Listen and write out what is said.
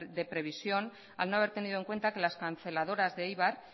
de previsión al no haber tenido en cuenta que las canceladoras de eibar